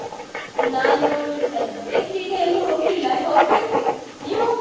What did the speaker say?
ನಾನು ಸದ್ಯಕ್ಕಿಗ ಎಲ್ಲು ಹೋಗ್ಲಿಲ್ಲ ಹೋಗ್ಬೇಕು, ನೀವು?